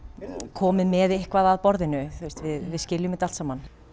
komið með eitthvað að borðinu við skiljum þetta allt saman